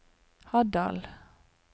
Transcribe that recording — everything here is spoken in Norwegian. Haddal